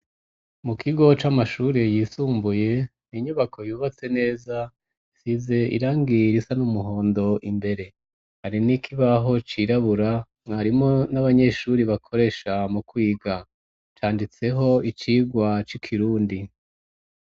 Mu kigo c'amashuri yisumbuye, inyubako yubatse neza, isize irangi risa n'umuhondo imbere, hari n'ikibaho cirabura mwarimu n'abanyeshuri bakoresha mu kwiga, canditseko icigwa c'ikirundi.